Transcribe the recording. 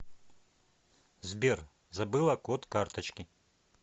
сбер забыла код карточки